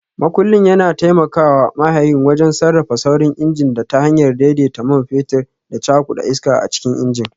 Makullin yana taimaka wa mahayin wajen sarrafa saurin injin ta hanyar daidaita man fetur da cakuda iska a cikin injin.